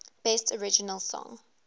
best original song